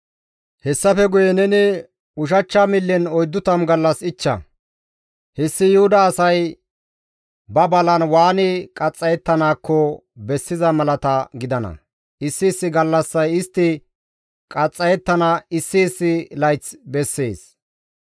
«Hessafe guye neni ushachcha millen 40 gallas ichcha; hessi Yuhuda asay ba balan waani qaxxayettanaakko bessiza malata gidana; issi issi gallassay istti qaxxayettana issi issi layth bessees.